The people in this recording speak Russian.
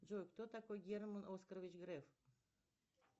джой кто такой герман оскарович греф